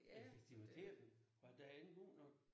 Effektiviteten var den ikke god nok?